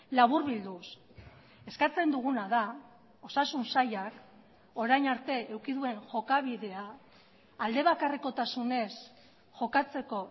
laburbilduz eskatzen duguna da osasun sailak orain arte eduki duen jokabidea aldebakarrekotasunez jokatzeko